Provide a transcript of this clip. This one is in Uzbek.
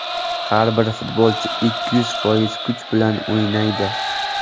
Har bir futbolchi ikki yuz foiz kuch bilan o‘ynaydi.